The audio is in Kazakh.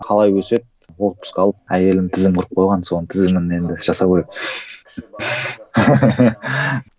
қалай өседі отпуск алып әйелім тізім құрып қойған соның тізімін енді жасау керек